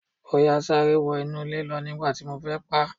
Ọ̀yà sáré wọ inú ilẹ̀ lọ nígbà tí mo fẹ́ paá.